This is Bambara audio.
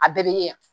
A bɛɛ bɛ ɲɛ